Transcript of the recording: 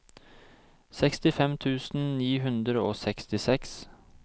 sekstifem tusen ni hundre og sekstiseks